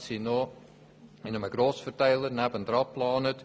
60 Parkplätze sind noch bei einem angrenzenden Grossverteiler geplant.